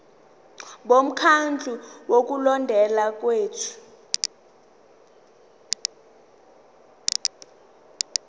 bomkhandlu wokulondeka kwethu